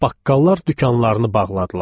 Baqqallar dükanlarını bağladılar.